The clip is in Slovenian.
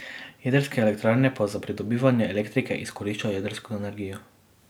Jedrske elektrarne pa za pridobivanje elektrike izkoriščajo jedrsko energijo.